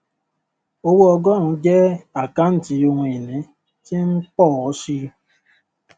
owó ọgórùn jẹ àkántì ohun ìní tí ń pọ ọ síi